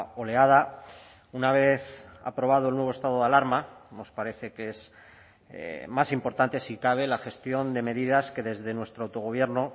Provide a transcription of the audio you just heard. oleada una vez aprobado el nuevo estado de alarma nos parece que es más importante si cabe la gestión de medidas que desde nuestro autogobierno